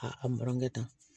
A a burankɛ ta